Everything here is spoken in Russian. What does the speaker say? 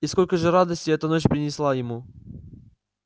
и сколько же радости эта ночь принесла ему